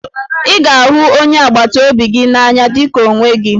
Ị ga-ahụ onye agbataobi gị n'anya dị ka onwe gị